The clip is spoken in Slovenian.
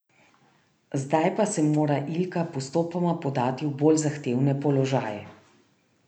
Zdaj pa se mora Ilka postopoma podati v bolj zahtevne položaje.